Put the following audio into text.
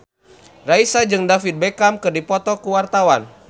Raisa jeung David Beckham keur dipoto ku wartawan